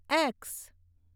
x